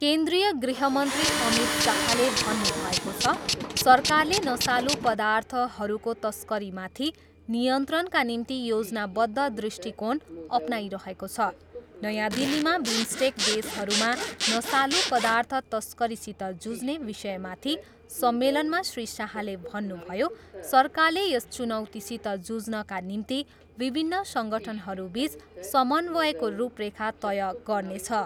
केन्द्रिय गृहमन्त्री अमित शाहले भन्नुभएको छ, सरकारले नसालु पदार्थहरूको तस्करीमाथि नियन्त्रणका निम्ति योजनाबद्ध दृष्टिकोण अपनाइरहेको छ। नयाँ दिल्लीमा बिम्स्टेक देशहरूमा नसालु पदार्थ तस्करीसित जुझ्ने विषयमाथि सम्मेलनमा श्री शाहले भन्नुभयो, सरकारले यस चुनौतीसित जुझ्नका निम्ति विभिन्न सङ्गठनहरूबिच समन्वयको रूपरेखा तय गर्नेछ।